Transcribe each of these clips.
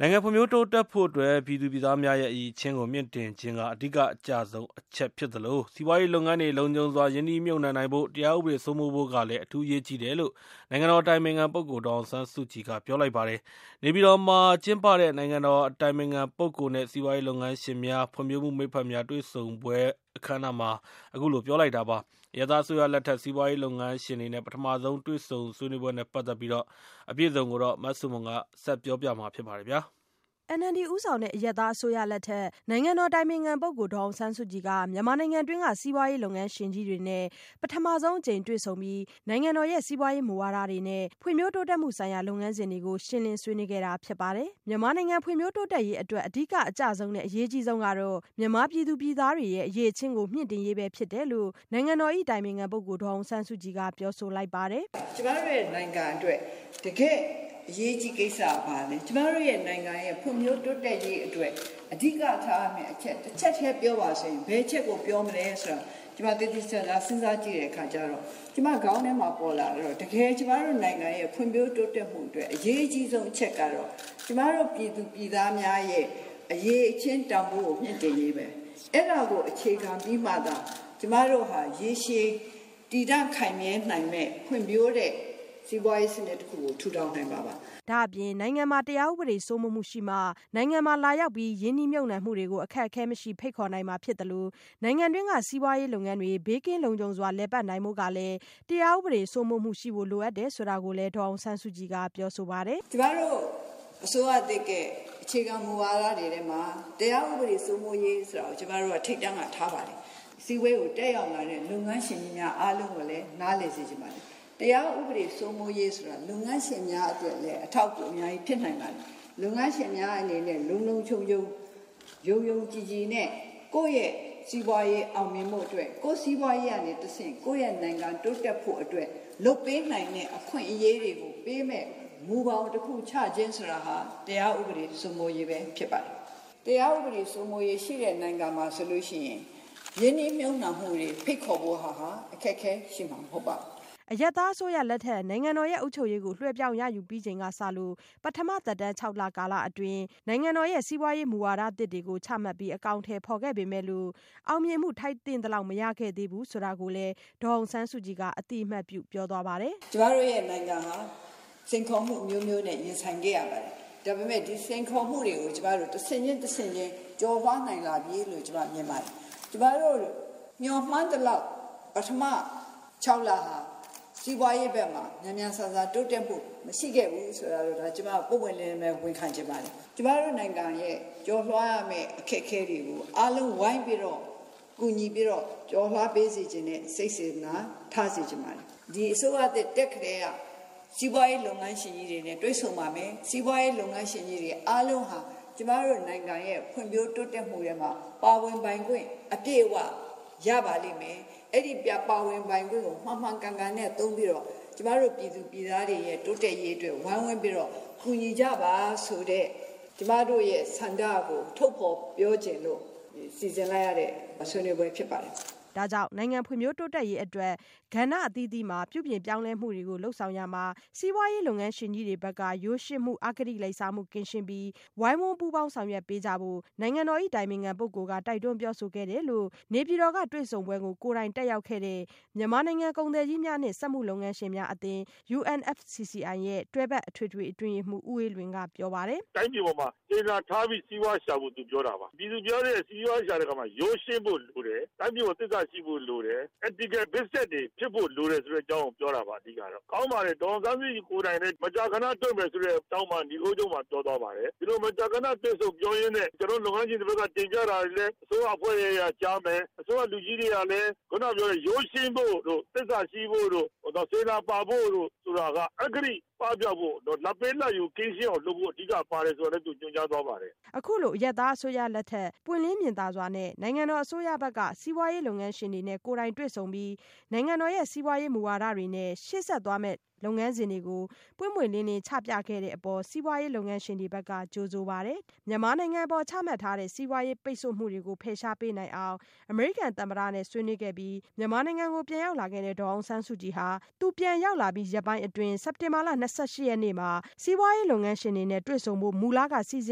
နိုင်ငံဖွံ့ဖြိုးတိုးတက်ဖို့အတွက် ပြည်သူပြည်သားများရဲ့ အရည်အချင်းကို မြှင့်တင်ခြင်း က အဓိကအကျဆုံးအချက် ဖြစ်သလို စီးပွားရေး လုပ်ငန်းတွေ လုံခြုံစွာ ရင်းနှီးမြုပ်နှံနိုင်ဖို့က တရားဥပဒေစိုးမိုး မှုဖို့ကလည်း အထူးအရေးကြီးတယ်လို့ နိုင်ငံတော်၏အတိုင်ပင်ခံပုဂ္ဂိုလ် ဒေါ်အောင်ဆန်းစုကြည်က ပြောဆိုလိုက် ပါတယ်။ နေပြည်တော်မှာ ကျင်းပတဲ့ နိုင်ငံတော်၏ အတိုင်ပင်ခံပုဂ္ဂိုလ်နဲ့ စီးပွားရေး လုပ်ငန်းရှင်များ ဖွ့ြံဖိုးမှု မိတ်ဖက်များ တွေ့ဆုံပွဲအခမ်း အနားမှာ ပြောဆိုလိုက်တာ ဖြစ်ပါတယ်။ အရပ်သားအစိုးရလက်ထက် စီးပွားရေးလုပ်ငန်းရှင်တွေနဲ့ ပထမဆုံး တွေ့ဆုံတဲ့ ဆွေးနွေးပွဲနဲ့ပတ်သက်တဲ့ သတင်းအပြည့်အစုံ မဆုမွန် ဆက်ပြောပြပါမယ်။ NLD ဦးဆောင်တဲ့ အရပ်သားအစိုးရ လက်ထက် နိုင်ငံတော်အတိုင်ပင်ခံ ပုဂ္ဂိုလ် ဒေါ်အောင်ဆန်းစုကြည်က မြန်မာနိုင်ငံတွင်းက စီးပွားရေး လုပ်ငန်းရှင် ကြီးတွေနဲ့ ပထမဆုံးအကြိမ် တွေ့ဆုံပြီး နိုင်ငံတော်ရဲ့ စီးပွားရေးမူဝါဒတွေနဲ့ ဖွံ့ဖြိုး တိုးတက်မှုဆိုင်ရာ လုပ်ငန်းစဉ်တွေကို ရှင်းလင်းဆွေးနွေး ခဲ့တာဖြစ်ပါတယ်။ မြန်မာ နိူင်ငံ ဖွံံ့ဖြိုးတိုးတက်ရေးအတွက် အဓိကအကျဆုံးနဲ့ အရေးကြီးဆုံး ကတော့ မြန်မာ ပြည်သူ ပြည်သားတွေရဲ့အရည်အချင်းကို မြင့်တင်ရေးပဲဖြစ်တယ်လို့ နိုင်ငံတော်အတိုင်ပင်ခံ ပုဂ္ဂိုလ်ဒေါ်အောင်ဆန်း စုကြည်က ပြောဆို လိုက်ပါတယ်။ “ ကျမတို့ရဲ့နိုင်ငံအတွက် တကယ့်အရေးကြီးကိစ္စက ဘာလဲ၊ ကျမတို့ရဲ့ နိူင်ငံရဲ့ ဖွံ့ဖြိုးတိုးတက်ရေးအတွက် အဓိကထားရမယ့် အချက် တချက်ထဲ ပြောပါဆိုရင် ဘယ်အချက်ကို ပြောမလဲဆိုတာ ကျမသေသေချာချာ စဉ်းစားကြည့်တဲ့ အခါကျတော့ ကျမခေါင်းထဲမှာပေါ် လာတာက၊ တကယ် ကျမတို့ နိူင်ငံရဲ့ဖွံ့ဖြိုးတိုးတက်မှုအတွက် အရေးအကြီးဆုံး အချက်ကတော့ ကျမတို့ ပြည်သူပြည်သား များရဲ့ အရည် အချင်း တန်းဖိုးကို မြှင့်တင်ရေးပဲ။ အဲဒါကို အခြေခံပြီးမှသာ ကျမတို့ဟာရေရှည် တည်တန့် ခိုင်မြဲနိူင်မယ့် ဖွံ့ဖြိုးတဲ့ စီးပွားရေးစနစ် တခုကို ထူထောင်နိူင်မှာပါ ” ဒါ့အပြင် နိုင်ငံမှာ တရားဥပဒေစိုးမိုးမှုရှိမှ နိုင်ငံမှာလာရောက် ရင်းနှီးမြုပ်နှံမှုတွေကို အခက်အခဲမရှိ ဖိတ်ခေါ်နိုင်မှာဖြစ်သလို နိုင်ငံတွင်းက စီးပွားရေးလုပ် ငန်းတွေ ဘေး ကင်းလုံခြုံစွာ လည်ပတ်နိုင်ဖို့ကလည်း တရားဥပဒေစိုးမိုးမှု ရှိဖို့လိုအပ်တယ် ဆိုတာ ကိုလည်း ဒေါ်အောင်ဆန်းစုကြည်က ပြောဆိုပါတယ်။ “ ကျမတို့ အစိုးရသစ်ရဲ့ အခြေခံမူဝါဒတွေထဲမှာ တရားဥပဒေစိုးမိုးရေး ဆိုတာကို ကျမတို့က ထိပ်တန်းမှာ ထားပါတယ်။ စည်းဝေးကို တက်ရောက်လာတဲ့ လုပ်ငန်း ရှင်ကြီးများ အားလုံးကိုလဲ နားလည်စေချင်ပါတယ်။ တရားဥပဒေစိုးမိုးရေးဆိုတာ လုပ်ငန်းရှင်များ အတွက်လဲ အထောက်အကူ အများကြီးဖြစ်နိူင်ပါတယ်။ လုပ်ငန်း ရှင်များ အနေနဲ့ လုံလုံခြုံခြုံ ယုံယုံကြည်ကြည်နဲ့ ကိုယ့်ရဲ့ စီးပွားရေး အောင်မြင်ဖို့ အတွက်၊ ကိုယ့်စီးပွားရေးကနေ တဆင့် ကိုယ့်နိူင်ငံ တိုးတက်ဖို့အတွက် လုပ်ပေးနိူင် တဲ့ အခွင့်အရေးတွေကို ပေးမယ့် မူဘောင်တခု ချခြင်းဆိုတာဟာ တရားဥပဒေ စိုးမိုးရေးပဲ ဖြစ်ပါတယ်။ တရားဥပဒေစိုးမိုးရေး ရှိတဲ့နိူင်ငံမှာ ဆိုလို့ရှိရင် ရင်းနှီးမြှုပ်နှံ မှုတွေ ဖိတ်ခေါ်ဖို့ဟာ အခက်အခဲ ရှိမှာ မဟုတ် ပါဘူး” အရပ်သားအစိုးရလက်ထက် နိုင်ငံတော်ရဲ့အုပ်ချုပ်ရေးကို လွှဲပြောင်း ရယူပြီးချိန် ကစလို့ သက်တမ်းခြောက်လကာလအတွင်း နိုင်ငံတော်ရဲ့စီးပွားရေးမူဝါဒသစ်တွေ ချမှတ်ပြီး အကောင်အထည်ဖော်ခဲ့ပေမဲ့လို့ အောင်မြင်မှု ထိုက်သင့်သလောက် မရ ခဲ့သေးဘူး ဆိုတာကိုလည်း ဒေါ်အောင်ဆန်းစုကြည်က အသိအမှတ်ပြုပြော သွား ပါတယ်။ “ ကျမတို့ရဲ့ နိူင်ငံဟာ စိန်ခေါ်မှုအမျိုးမျိုးနဲ့ ရင်ဆိုင်ခဲ့ရပါတယ်။ ဒါပေမယ့် ဒီစိန်ခေါ် မှုတွေကို ကျမတို့ တဆင့်ချင်း တဆင့်ချင်း ကျော်လွှား လာနိူင်ပြီလို့ ကျမမြင်ပါတယ်။ ကျမတို့ မျှော်မှန်းသလောက် ပထမ ၆လဟာ စီးပွားရေးဘက်မှာ မြန်မြန်ဆန်ဆန် တိုးတက်မှု မရှိခဲ့ဘူး ဆိုတာ ကိုတော့ ဒါကျမ ပွင့်ပွင့်လင်းလင်းပဲ ဝန်ခံချင်ပါတယ်။ ကျမတို့နိူင်ငံရဲ့ကျော် လွှားရမယ့် အခက်အခဲတွေကို အားလုံးဝိုင်းပြီးတော့ ကူညီ ပြီးတော့ ကျော်လွှားပေးစေချင်တဲ့ စိတ်စေတနာ ထားစေချင်ပါတယ်။ ဒီအစိုးရသစ် တက်ကတည်းက စီးပွားရေး လုပ်ငန်းရှင်ကြီးတွေနဲ့ တွေ့ဆုံပါမယ်၊ စီးပွားရေး လုပ်ငန်း ရှင်ကြီးတွေ အားလုံးဟာ ကျမတို့နိူင်ငံရဲ့ ဖွံ့ဖြိုးတိုးတက်မှုထဲမှာ ပါဝင်ပိုင်ခွင့် အပြည့်အဝ ရပါလိမ့်မယ်၊ အဲဒီ ပါဝင်ပိုင်ခွင့်ကို မှန်မှန်ကန်ကန်နဲ့ သုံးပြီးတော့ ကျမတို့ ပြည်သူပြည်သားတွေရဲ့ တိုးတက်ရေးအတွက် ဝိုင်းဝန်းပြီးတော့ ကူညီကြ ပါဆိုတဲ့ ကျမတို့ရဲ့ ဆန္ဒကို ထုတ်ဖေါ်ပြောချင်လို့ စီစဉ်လိုက်ရတဲ့ ဆွေးနွေးပွဲ ဖြစ် ပါတယ် ” ဒါကြောင့် နိုင်ငံဖွံ့ဖြိုး တိုးတက်ရေးအတွက် ကဏ္ဍအသီးသီးက ပြုပြင်ပြောင်းလဲ မှုတွေကို လုပ်ဆောင်ရာမှာ စီးပွားရေး လုပ်ငန်းရှင်ကြီးတွေ ဘက်က ရိုးရှင်းမှု အဂတိ လိုက်စားမှု ကင်းရှင်းပြီး ဝိုင်းဝန်းပူးပေါင်းဆောင်ရွက်ပေးကြဖို့ နိုင်ငံတော်၏ အတိုင်ပင်ခံပုဂ္ဂိုလ်က တိုက်တွန်းပြော ဆိုခဲ့တယ်လို့ နေပြည်တော်ကတွေ့ဆုံပွဲကို ကိုယ်တိုင်တက်ရောက်ခဲ့တဲ့ UMFCCI (Union of Myanmar Federation of Chambers of Commerce and Industry) မြန်မာနိုင်ငံ ကုန်သည်ကြီးများနဲ့ စက်မှု လက်မှုလုပ်ငန်းရှင်များ အသင်းတွဲဖက်အထွေထွေအတွင်းရေးမှူး ဦးအေးလွင်က အခုလိုပြောပါတယ်။ “ တိုင်းပြည်ပေါ်မှာ စေတနာထားပြီး စီးပွားရှာဖို့ သူပြောတာပါ၊ သူပြောတဲ့ စီးပွားရှာတဲ့ အခါမှာ ရိုးရှင်းဖို့လိုတယ်၊ တိုင်းပြည်ပေါ် သစ္စာရှိဖို့ လိုတယ်။ Ethical Business တွေဖြစ်ဖို့ လိုတယ်ဆိုတဲ့ အကြောင်းကို ပြောတာပါ အဓိက ကတော့။ ကောင်းပါတယ် ဒေါ်အောင်ဆန်းစုကြည် ကိုယ်တိုင်လဲ မကြာခဏ တွေ့ မယ်ဆိုတဲ့ အကြောင်းပါ နိဂုံးချုပ်မှာပြော သွားပါတယ်။ ဒီလို မကြာခနတွေ့ဆုံပြော ရင်းနဲ့ ကျနော်တို့ လုပ်ငန်း ရှင်တွေဘက်က တင်ပြတာတွေလဲ အစိုးရအဖွဲ့က ကြားမယ်၊ အစိုးရလူကြီးတွေကလဲ ခုနကပြောတဲ့ ရိုးရှင်းဖို့တို့ သစ္စာရှိဖို့တို့ စေတနာ ပါဖို့တို့ ဆိုတာက အဂတိပပျောက်ဖို့တို့ လာဘ်ပေးလာဘ်ယူ ကင်းရှင်းအောင်လုပ်ဖို့ အဓိကပါတယ် ဆိုတာကိုလည်း သူညွှန်ကြားသွားပါတယ် ” အခုလို အရပ်သားအစိုးရလက်ထက် ပွင့်လင်းမြင်သာ စွာနဲ့ နိုင်ငံတော် အစိုးရ ဘက်က စီးပွားရေး လုပ်ငန်းရှင်တွေနဲ့ ကိုယ်တိုင်တွေ့ဆုံပြီး နိုင်ငံတော်ရဲ့စီးပွားရေး မူဝါဒတွေနဲ့ ရှေ့ဆက်သွားမယ့်လုပ်ငန်းစဉ်တွေကို ပွင့်ပွင့်လင်းလင်းချပြခဲ့တဲ့အပေါ် စီးပွားရေးလုပ်ငန်းရှင်တွေဘက်က ကြိုဆိုပါတယ်။ မြန်မာနိုင်ငံအပေါ်ချမှတ်ထားတဲ့ စီးပွားရေးပိတ်ဆို့မှုတွေကို ဖယ်ရှားပေးနိုင်အောင် အမေရိကန် သမ္မတနဲ့ ဆွေးနွေး ခဲ့ပြီး မြန်မာနိုင်ငံကို ပြန်ရောက်လာခဲ့တဲ့ ဒေါ်အောင်ဆန်းစုကြည်ဟာ သူပြန်ရောက် လာပြီး ရက်ပိုင်းအတွင်း စက်တင်ဘာလ ၂၈ရက်နေ့မှာ စီးပွားရေး လုပ်ငန်းရှင်တွေ နဲ့ တွေ့ဆုံဖို့ မူလက စီစ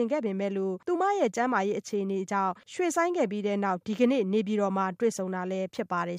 ဉ်ခဲ့ပေမဲ့လို့ သူမရဲ့ကျန်းမာရေး အခြေအနေကြောင့် ရွှေ့ ဆိုင်းခဲ့ပြီးနောက် ဒီကနေ့မှ နေပြည်တော်မှာ တွေ့ဆုံတာလည်းဖြစ်ပါတယ်